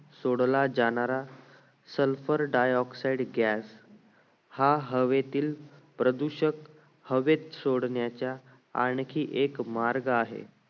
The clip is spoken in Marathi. सोडला जाणारा sulphur dioxide gas हा हवेतील प्रदूषक हवेत सोडण्याच्या आणखी एक मार्ग आहे